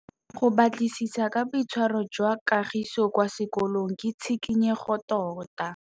Go batlisisa ka boitshwaro jwa Kagiso kwa sekolong ke tshikinyêgô tota.